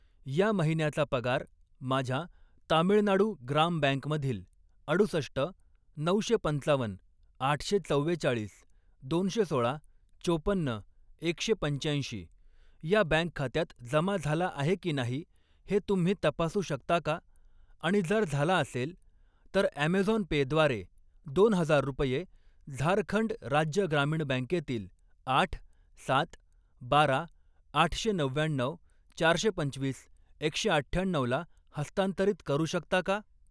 या महिन्याचा पगार माझ्या तामिळनाडू ग्राम बँक मधील अडुसष्ट, नऊशे पंचावन, आठशे चव्वेचाळीस, दोनशे सोळा, चोपन्न, एकशे पंच्याऐंशी या बँक खात्यात जमा झाला आहे की नाही हे तुम्ही तपासू शकता का आणि जर झाला असेल, तर ऍमेझॉन पे द्वारे दोन हजार रुपये झारखंड राज्य ग्रामीण बँकेतील आठ, सात, बारा, आठशे नव्व्याण्णऊ, चारशे पंचवीस, एकशे अठ्ठ्याण्णऊ ला हस्तांतरित करू शकता का?